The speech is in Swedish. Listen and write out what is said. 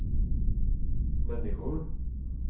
människor